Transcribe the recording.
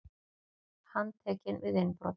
Handtekinn við innbrot